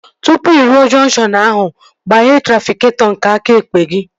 Tụpụ ị ruo jọnkshọn ahụ, gbaghee trafịketọ nke aka ekpe gị